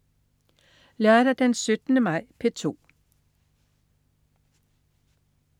Lørdag den 17. maj - P2: